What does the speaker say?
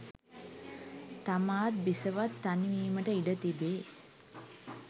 තමාත් බිසවත් තනි වීමට ඉඩ තිබේ